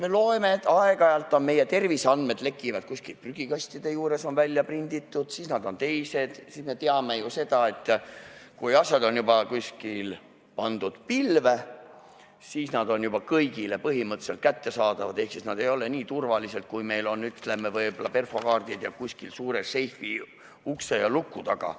Me loeme, et aeg-ajalt on terviseandmed kuskil prügikastide juures, nad on välja prinditud, me teame ju seda, et kui asjad on juba pandud kuskile pilve, siis nad on kõigile põhimõtteliselt kättesaadavad ehk nad ei ole nii turvalised, kui, ütleme, võib-olla perfokaardid ja see, mis on suures seifis luku taga.